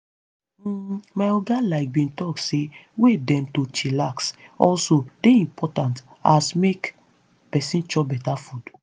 hmm my oga like bin talk say way dem to chillax also dey impotant as make peson chop beta food.